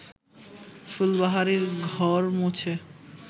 ফুলবাহারি ঘর মুছে